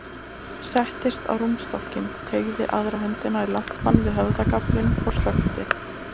Settist á rúmstokkinn, teygði aðra höndina í lampann við höfðagaflinn og slökkti.